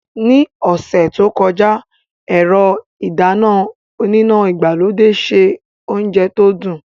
Ní ọ̀sẹ̀ tó kọjá, ẹ̀rọ ìdáná oníná ìgbàlódé se oúnjẹ tó dùn.